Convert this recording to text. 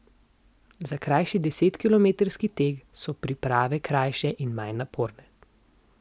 Za krajši desetkilometrski tek so priprave krajše in manj naporne.